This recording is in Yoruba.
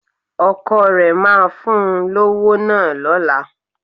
Ọkọ rẹ máa fún un lówó náà lọ́la